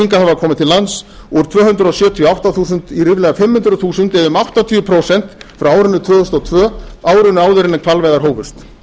hingað hafa komið til lands úr tvö hundruð sjötíu og átta þúsund í ríflega fimm hundruð þúsund eða um áttatíu prósent frá árinu tvö þúsund og tvö árinu áður en hvalveiðar hófust